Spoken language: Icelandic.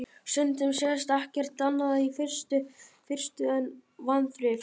Stundum sést ekkert annað í fyrstu en vanþrif.